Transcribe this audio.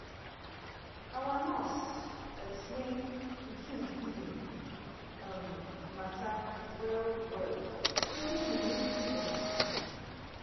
our nurse explain pikin feeding um matter well-well even mumu fit understand.